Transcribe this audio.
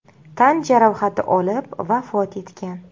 tan jarohati olib, vafot etgan.